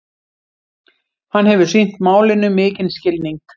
Hann hefur sýnt málinu mikinn skilning